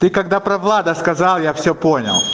ты когда про влада сказал я все понял